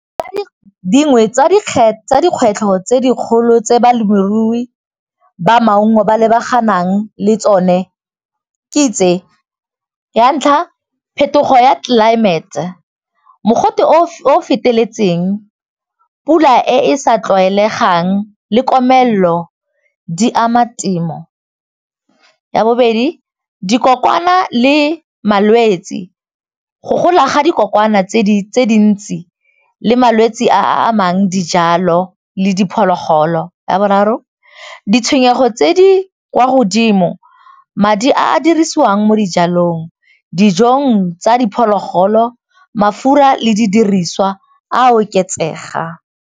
Dingwe tsa dikgwetlho tse dikgolo tse balemirui ba maungo ba lebaganeng le tsone ke tse, ya ntlha phetogo ya tlelaemete, mogote o o feteletseng, pula e sa tlwaelegang le komelelo di ama temo. Ya bobedi, dikokwana le malwetsi, go gola ga dikokwana tse dintsi le malwetsi a a amang dijalo le diphologolo. Ya boraro, ditshwenyego tse di kwa godimo, madi a a dirisiwang mo dijalong, dijong tsa diphologolo mafura le di diriswa a oketsegang.